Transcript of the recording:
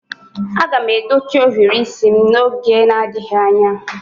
Aga m edochi ohiri isi m n'oge adịghị anya